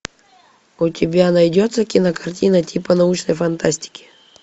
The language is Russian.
у тебя найдется кинокартина типа научной фантастики